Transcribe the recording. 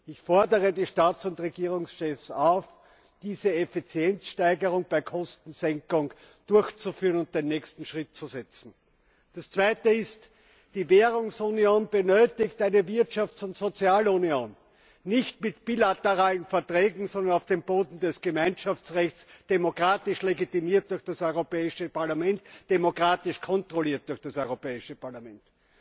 Ich fordere die Staats und Regierungschefs auf, diese Effizienzsteigerung der Kostensenkung durchzuführen und den nächsten Schritt zu setzen. Der zweite Punkt Die Währungsunion benötigt eine Wirtschafts und Sozialunion nicht mit bilateralen Verträgen, sondern auf dem Boden des Gemeinschaftsrechts, demokratisch legitimiert durch das Europäische Parlament, demokratisch kontrolliert durch das Europäische Parlament.